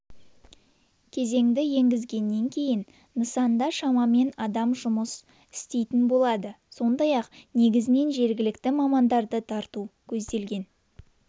кезеңді енгізгеннен кейін нысанда шамамен адам жұмыс істейтін болады сондай-ақ негізінен жергілікті мамандарды тарту көзделген